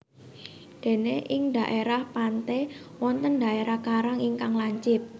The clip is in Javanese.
Dene ing dhaerah pante wonten dherah karang ingkang lancip